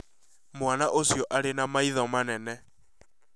Mwana ũcio arĩ na maitho manene